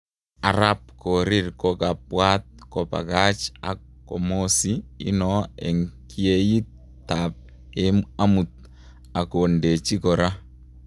Arap korir kokapwat kopakach ak komosi ino en kyeyit ap amut ak kondeji kora